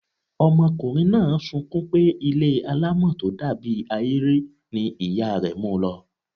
Ọmọkùnrin náà sunkún pé ilé alámọ̀ tó dàbí ahéré ni ìyá rẹ̀ mu lọ.